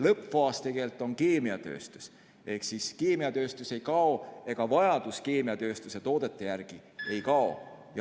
Lõppfaas on tegelikult keemiatööstus, ehk keemiatööstus ei kao ja vajadus keemiatööstuse toodete järele ei kao.